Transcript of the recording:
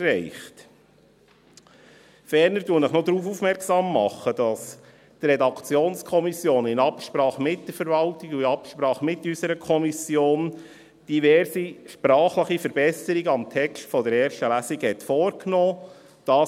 Ferner mache ich Sie noch darauf aufmerksam, dass die Redaktionskommission in Absprache mit der Verwaltung und in Absprache mit unserer Kommission diverse sprachliche Verbesserungen am Text der ersten Lesung vorgenommen hat.